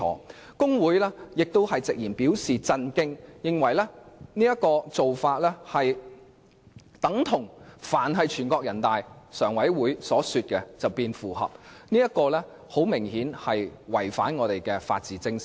大律師公會直言對此表示震驚，認為此宣布等同指"但凡全國人大常委會所說符合的便是符合"，這顯然違反我們的法治精神。